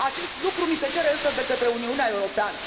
Acest lucru ni se cere, însă, de către Uniunea Europeană.